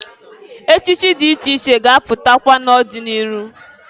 Echichi dị iche iche ga-apụtakwa n'ọdị n'iru.